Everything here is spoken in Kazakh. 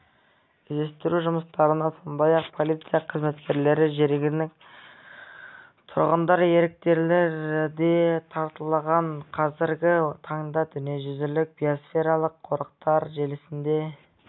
іздестіру жұмыстарына сондай-ақ полиция қызметкерлері жергілікті тұрғындар еріктілер де тартылған қазіргі таңда дүниежүзілік биосфералық қорықтар желісінде